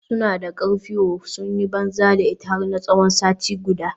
Suna da karfi ooo, sun yi banza da ita har tsawon sati guda.